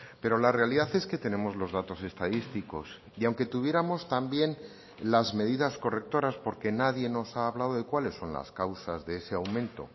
pero la realidad es que tenemos los datos estadísticos y aunque tuviéramos también las medidas correctoras porque nadie nos ha hablado de cuáles son las causas de ese aumento